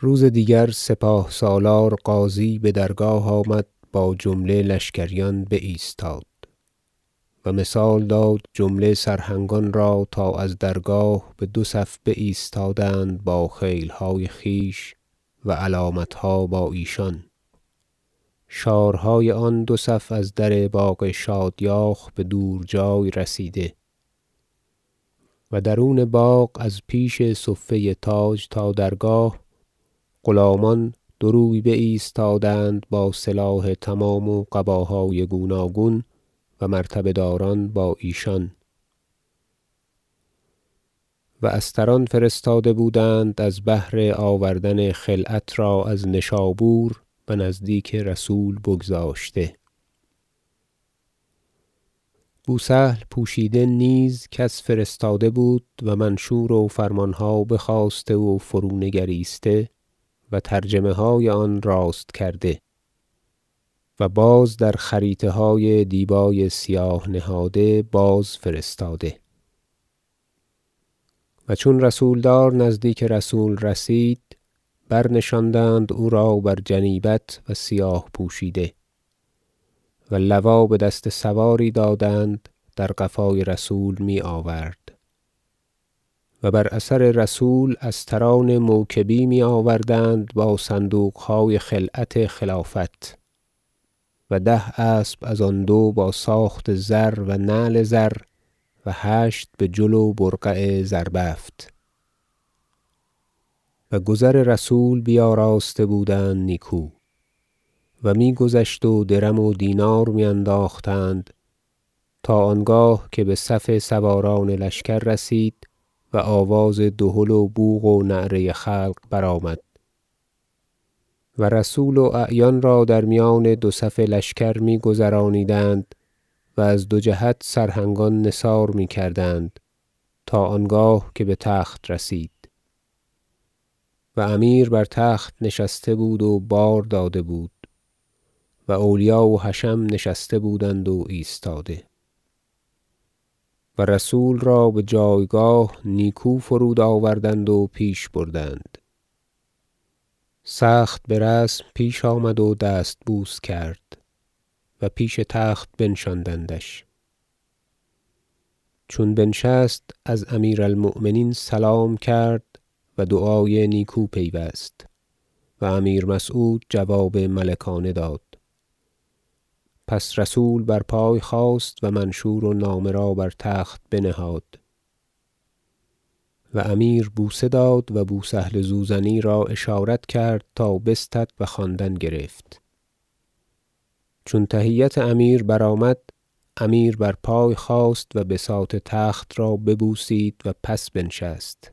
روز دیگر سپاه سالار غازی به درگاه آمد با جمله لشکریان بایستاد و مثال داد جمله سرهنگان را تا از درگاه به دو صف بایستادند با خیل های خویش و علامت ها با ایشان شارهای آن دو صف از در باغ شادیاخ به دورجای رسیده و درون باغ از پیش صفه تاج تا درگاه غلامان دو روی بایستادند با سلاح تمام و قباهای گوناگون و مرتبه داران با ایشان و استران فرستاده بودند از بهر آوردن خلعت را از نشابور و نزدیک رسول بگذاشته بوسهل پوشیده نیز کس فرستاده بود و منشور و فرمان ها بخواسته و فرونگریسته و ترجمه های آن راست کرده و باز در خریطه های دیبای سیاه نهاده بازفرستاده و چون رسول دار نزدیک رسول رسید برنشاندند او را بر جنیبت و سیاه پوشیده و لوا به دست سواری دادند در قفای رسول می آورد و بر اثر رسول استران موکبی می آوردند با صندوق های خلعت خلافت و ده اسب از آن دو با ساخت زر و نعل زر و هشت به جل و برقع زربفت و گذر رسول بیاراسته بودند نیکو و می گذشت و درم و دینار می انداختند تا آنگاه که به صف سواران لشکر رسید و آواز دهل و بوق و نعره خلق برآمد و رسول و اعیان را در میان دو صف لشکر می گذرانیدند و از دو جهت سرهنگان نثار می کردند تا آنگاه که به تخت رسید و امیر بر تخت نشسته بود و بار داده بود و اولیا و حشم نشسته بودند و ایستاده و رسول را به جایگاه نیکو فرودآوردند و پیش بردند سخت به رسم پیش آمد و دستبوس کرد و پیش تخت بنشاندندش چون بنشست از امیر المؤمنین سلام کرد و دعای نیکو پیوست و امیر مسعود جواب ملکانه داد پس رسول بر پای خاست و منشور و نامه را بر تخت بنهاد و امیر بوسه داد و بو سهل زوزنی را اشارت کرد تا بستد و خواندن گرفت چون تحیت امیر برآمد امیر بر پای خاست و بساط تخت را ببوسید و پس بنشست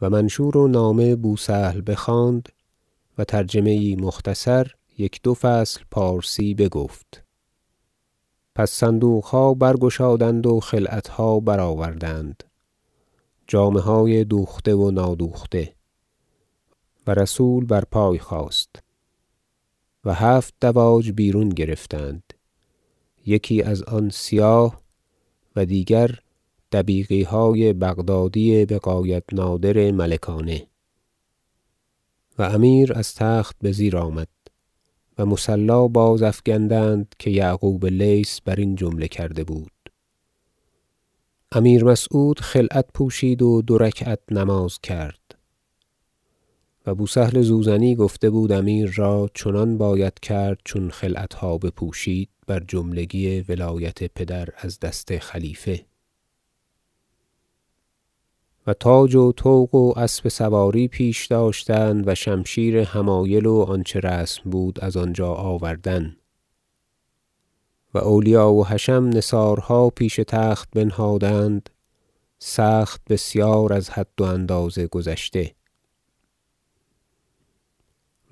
و منشور و نامه بو سهل بخواند و ترجمه ای مختصر یک دو فصل پارسی بگفت پس صندوق ها برگشادند و خلعت ها برآوردند جامه های دوخته و نادوخته و رسول بر پای خاست و هفت دواج بیرون گرفتند یکی از آن سیاه و دیگر دبیقی های بغدادی بغایت نادر ملکانه و امیر از تخت به زیر آمد و مصلی بازافگندند که یعقوب لیث بر این جمله کرده بود امیر مسعود خلعت پوشید و دو رکعت نماز بکرد و بوسهل زوزنی گفته بود امیر را چنان باید کرد چون خلعت ها بپوشید بر جملگی ولایت پدر از دست خلیفه و تاج و طوق و اسب سواری پیش داشتند و شمشیر حمایل و آنچه رسم بود از آنجا آوردن و اولیا و حشم نثارها پیش تخت بنهادند سخت بسیار از حد و اندازه گذشته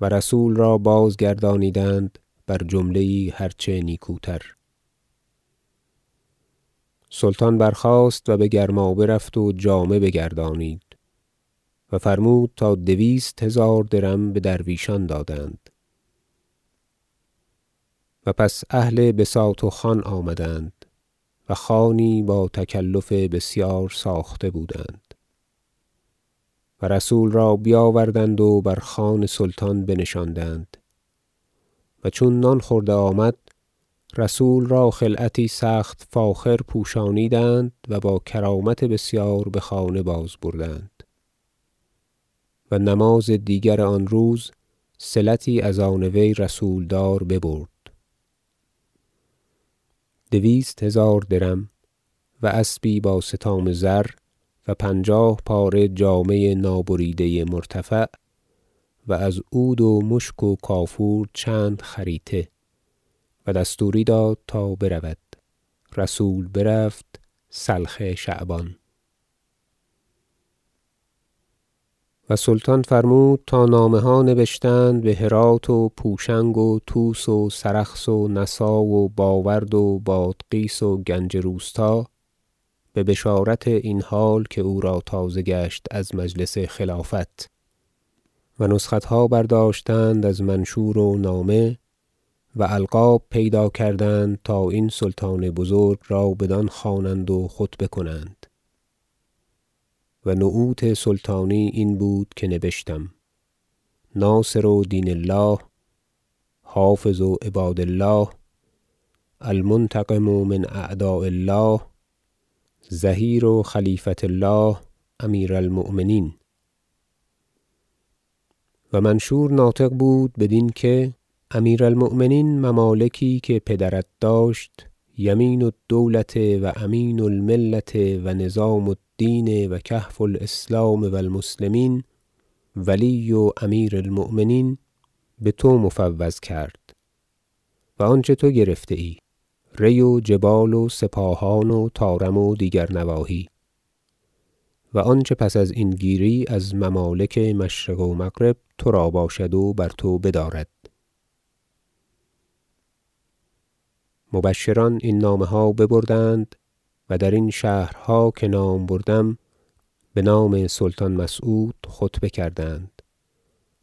و رسول را بازگردانیدند بر جمله ای هر چه نیکوتر سلطان برخاست و به گرمابه رفت و جامه بگردانید و فرمود تا دویست هزار درم به درویشان دادند و پس اهل بساط و خوان آمدند و خوانی با تکلف بسیار ساخته بودند و رسول را بیاوردند و بر خوان سلطان بنشاندند و چون نان خورده آمد رسول را خلعتی سخت فاخر پوشانیدند و با کرامت بسیار به خانه باز بردند و نماز دیگر آن روز صلتی از آن وی رسول دار ببرد دویست هزار درم و اسبی به استام زر و پنجاه پاره جامه نابریده مرتفع و از عود و مشک و کافور چند خریطه و دستوری داد تا برود رسول برفت سلخ شعبان و سلطان فرمود تا نامه ها نبشتند به هرات و پوشنگ و طوس و سرخس و نسا و باورد و بادغیس و گنج روستا به بشارت این حال که او را تازه گشت از مجلس خلافت و نسخت ها برداشتند از منشور و نامه و القاب پیدا کردند تا این سلطان بزرگ را بدان خوانند و خطبه کنند و نعوت سلطانی این بود که نبشتم ناصر دین الله حافظ عباد الله المنتقم من اعداء الله ظهیر خلیفة الله امیر المؤمنین و منشور ناطق بود بدین که امیر المؤمنین ممالکی که پدر داشت یمین الدوله و امین المله و نظام الدین و کهف الاسلام و المسلمین ولی امیر المؤمنین به تو مفوض کرد و آنچه تو گرفته ای ری و جبال و سپاهان و طارم و دیگر نواحی و آنچه پس ازین گیری از ممالک مشرق و مغرب ترا باشد و بر تو بدارد مبشران این نامه ها ببردند و درین شهرها که نام بردم به نام سلطان مسعود خطبه کردند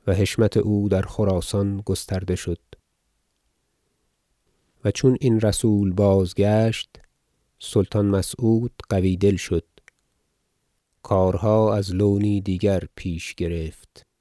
و حشمت او در خراسان گسترده شد و چون این رسول بازگشت سلطان مسعود قوی دل شد کارها از لونی دیگر پیش گرفت